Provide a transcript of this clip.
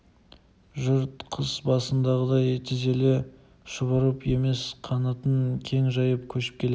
жұрт қыс басындағыдай тізіле шұбырып емес қанатын кең жайып көшіп келеді